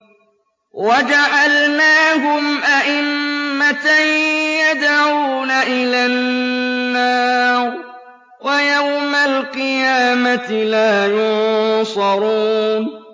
وَجَعَلْنَاهُمْ أَئِمَّةً يَدْعُونَ إِلَى النَّارِ ۖ وَيَوْمَ الْقِيَامَةِ لَا يُنصَرُونَ